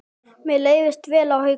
Mér leist vel á Hauka.